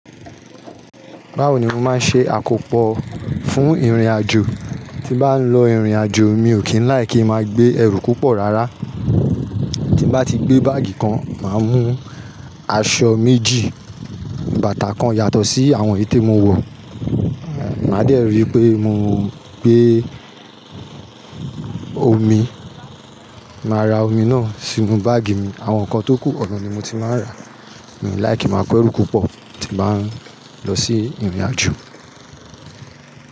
Báwo ni máa ṣe àkó pọ fún ìrìnàjò? Tí n bá ń lọ ìrìnàjò mi ò kí ń like kí i máa gbé ẹrù púpọ̀ rárá. Tí n bá ti gbé báàgì kan, màá mú aṣọ méjì, bàtà kan yàtọ̀ sí àwọn èyí tí mo wọ̀. Màá dẹ́ rí i pé mo gbé omi, màá ra omi náà sínú báàgì mi. Àwọn nǹkan tó kù, ọ̀nà ni mo ti máa ń ra. Mi i like kí i máa ko ẹrù púpọ̀ tí n bá ń lọ sí ìrìnàjò.